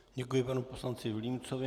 Děkuji panu poslanci Vilímcovi.